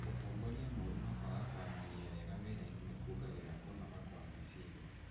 Ũtongoria moru na kwaga kwaranĩria wega wĩrainĩ nĩ kuongereraga kũnoga kwa meciria.